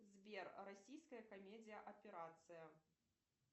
сбер российская комедия операция